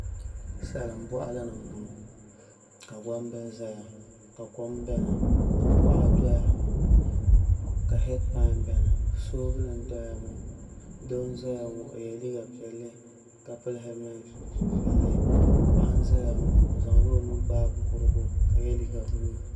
Salin boɣali ni n boŋo ka gbambili ʒɛya ka kom biɛni ka kuɣa doya ka heed pai biɛni soobuli n doya ŋo doo n ʒɛya ŋo o yɛ liiga piɛlli ka so jinjɛm piɛlli paɣa n ʒɛya ŋo o zaŋla o nuu gbaai kurigu ka yɛ liiga buluu